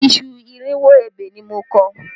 Iṣu irinwó ebè ni mo kọ